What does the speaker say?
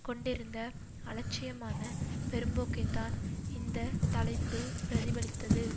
கொண்டிருந்த அலட்சியமான பெரும்போக்கைத்தான் இந்த தலைப்பு பிரதிபலித்தது